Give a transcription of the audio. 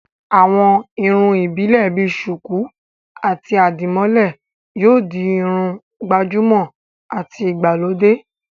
àwọn irun ìbílè bi sùkú àti àdìmólẹ̀ yóò di Irun gbàjúmọ̀ àti ìgbàlódé